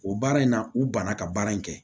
O baara in na u banna ka baara in kɛ